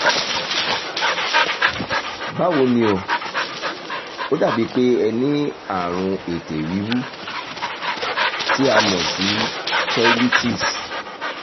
báwo ni o? ó dàbí pé ẹ ní àrùn ètè wíwú tí a mọ̀ sí cheilitis